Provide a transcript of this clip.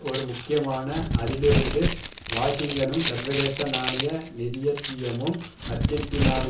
ஒரு முக்கியமான அதிலிருந்து வாஷிங்கனும் சர்வதேச நாணய நிதியத்தியமும் ஆர்ஜென்டீனாவின்